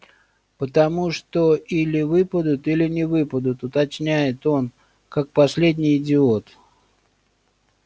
потому что или выпадут или не выпадут уточняет он как последний идиот